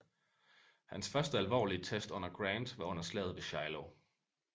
Hans første alvorlige test under Grant var under Slaget ved Shiloh